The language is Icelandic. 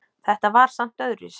Þetta var samt öðruvísi.